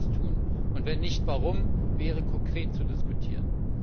Ob sie das tun und, wenn nicht, warum nicht, wäre konkret zu diskutieren.